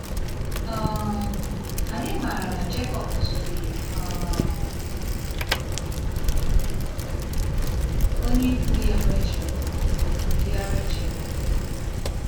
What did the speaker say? um Anyị maara na Jekọb zutere um onye ikwu ya Rachel. ya Rachel.